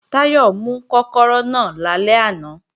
Táyọ̀ mú kọ́kọ́rọ́ náà lálẹ́ àná